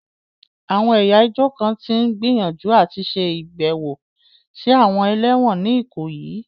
Àwọn ẹ̀yà ìjọ kan tí ń gbìyànjú àti ṣe ìbẹ̀wò sí àwọn ẹlẹ́wọ̀n ní Ikoyi.